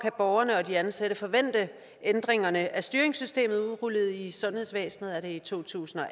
borgerne og de ansatte kan forvente ændringerne af styringssystemet udrullet i sundhedsvæsenet er det i to tusind og